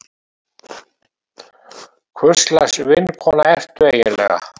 Hvurslags vinkona ertu eiginlega.